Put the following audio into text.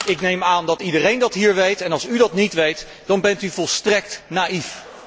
Ik neem aan dat iedereen dat hier weet, en als u dat niet weet, dan bent u volstrekt naïef.